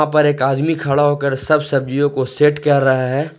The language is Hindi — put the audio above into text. पर एक आदमी खड़ा होकर सब सब्जियों को सेट कर रहा है।